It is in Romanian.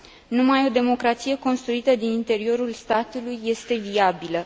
Numai o democrație construită din interiorul statului este viabilă.